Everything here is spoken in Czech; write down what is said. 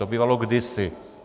To bývalo kdysi.